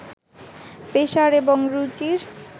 পেশার এবং রুচির